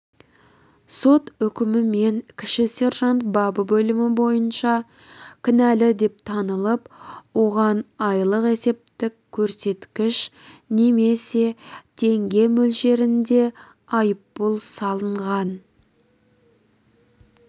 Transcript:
сот үкімімен кіші сержант бабы бөлімі бойынша кінәлі деп танылып оған айлық есептік көрсеткіш немесе теңге мөлшерінде айыппұл салынған